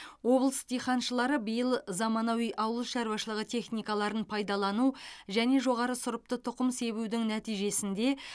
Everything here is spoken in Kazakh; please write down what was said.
облыс диқаншылары биыл заманауи ауылшаруашылығы техникаларын пайдалану және жоғары сұрыпты тұқым себудің нәтижесінде